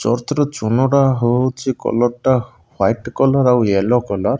ଚୌଷ୍ଟର ଚୂନ ଟା ହଉଛି କଲର୍ ଟା ୱାଇଟ କଲର୍ ଆଉ ୟେଲୋ କଲର୍ ।